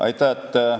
Aitäh!